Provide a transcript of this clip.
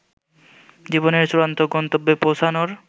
জীবনের চূড়ান্ত গন্তব্যে পৌঁছানোর